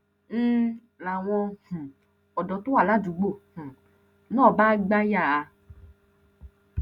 ń láwọn um ọdọ tó wà ládùúgbò um náà bá gbà yà á